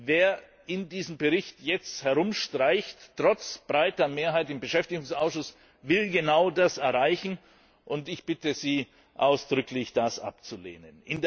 Wer in diesem Bericht jetzt herumstreicht, trotz breiter Mehrheit im Beschäftigungsausschuss, will genau das erreichen, und ich bitte Sie ausdrücklich, das abzulehnen.